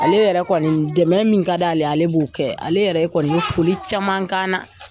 Ale yɛrɛ kɔni dɛmɛ min ka d'ale ye ale b'o kɛ ale yɛrɛ kɔni bɛ foli caman k'an na.